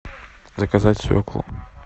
заказать свеклу